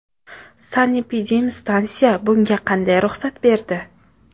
Sanepidemstansiya bunga qaday ruxsat berdi?